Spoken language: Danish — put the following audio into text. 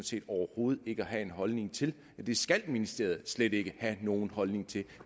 set overhovedet ikke at have en holdning til det skal ministeriet slet ikke have nogen holdning til